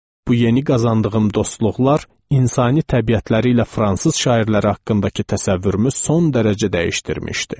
Bu yeni qazandığım dostluqlar insani təbiətləri ilə fransız şairləri haqqındakı təsəvvürümüzü son dərəcə dəyişdirmişdi.